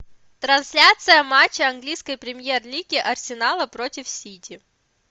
трансляция матча английской премьер лиги арсенала против сити